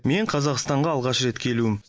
мен қазақстанға алғаш рет келуім